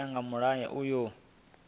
u ya nga mulayo uyu